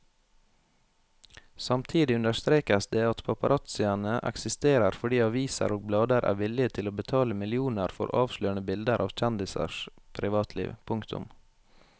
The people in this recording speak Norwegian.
Samtidig understrekes det at paparazziene eksisterer fordi aviser og blader er villige til å betale millioner for avslørende bilder av kjendisers privatliv. punktum